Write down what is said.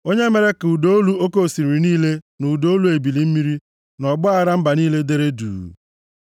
onye mere ka ụda olu oke osimiri niile na ụda olu ebili mmiri, na ọgbaaghara mba niile deere duu.